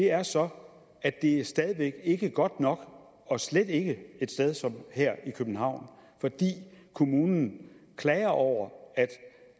er så at det stadig væk ikke er godt nok og slet ikke et sted som her i københavn for kommunen klager over